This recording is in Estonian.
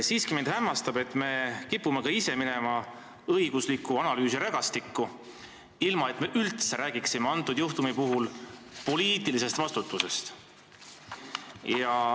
Samas mind hämmastab, et me kipume ikkagi minema õigusliku analüüsi rägastikku, ilma et me üldse räägiksime selle juhtumi puhul poliitilisest vastutusest.